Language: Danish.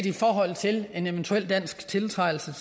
i forhold til en eventuel dansk tiltrædelse